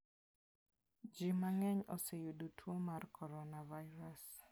Ji mang'eny oseyudo tuo mar coronavirus.